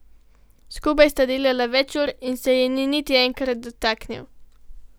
Skupaj sta delala več ur in se je ni niti enkrat dotaknil.